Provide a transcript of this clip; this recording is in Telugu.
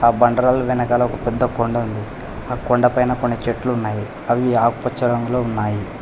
ఆ బండరాల వెనకాల ఒక పెద్ద కొండ ఉంది ఆ కొండపైన కొన్ని చెట్లు ఉన్నాయి అవి ఆకుపచ్చ రంగులో ఉన్నాయి.